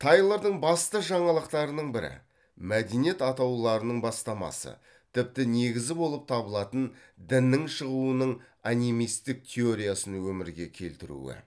тайлордың басты жаңалықтарының бірі мәдениет атауларының бастамасы тіпті негізі болып табылатын діннің шығуының анимистік теориясын өмірге келтіруі